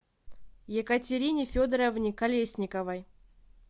екатерине федоровне колесниковой